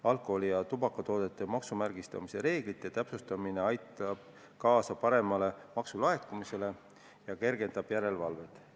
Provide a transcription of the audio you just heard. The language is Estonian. Alkoholi- ja tubakatoodete maksumärgistamise reeglite täpsustamine aitab kaasa paremale maksulaekumisele ja kergendab järelevalvet.